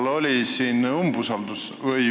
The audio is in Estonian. Hea minister!